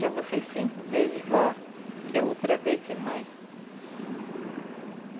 Já você cinco vezes vó, quer outra vez ser mãe?